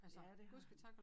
Ja det har han